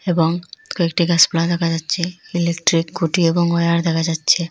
এবং কয়েকটি গাসপালা দেখা যাচ্ছে ইলেকট্রিক খুটি এবং ওয়ার দেখা যাচ্ছে।